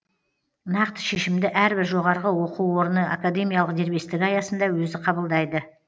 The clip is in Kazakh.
нақты шешімді әрбір жоғары оқу орны академиялық дербестігі аясында өзі қабылдайды